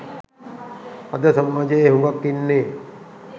අද සමාජයේ හුගක් ඉන්නේ